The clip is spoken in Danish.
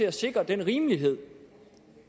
at sikre den rimelighed